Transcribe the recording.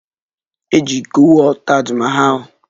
E ji iko wụọ Taj Mahal